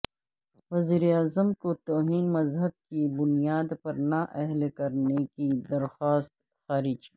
وزیراعظم کو توہین مذہب کی بنیاد پر نااہل کرنے کی درخواست خارج